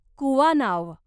कुवानाव